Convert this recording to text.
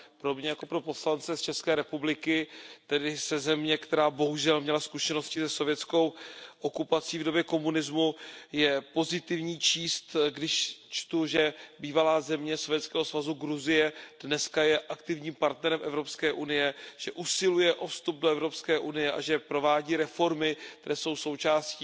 Pro mě jako pro poslance z České republiky, tedy ze země, která bohužel měla zkušenosti se sovětskou okupací v době komunismu, je pozitivní číst, že bývalá země Sovětského svazu Gruzie je dnes aktivním partnerem Evropské unie, že usiluje o vstup do Evropské unie a že provádí reformy, které jsou součástí